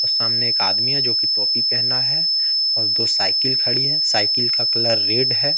अ सामने आदमी है जो की टोपी पहना है और दो साइकिल खड़ी है साइकिल का कलर रेड है।